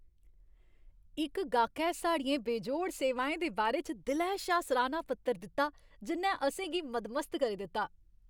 इक गाह्कै साढ़ियें बेजोड़ सेवाएं दे बारे च दिलै शा सराह्ना पत्र दित्ता जि'न्नै असें गी मदमस्त करी दित्ता।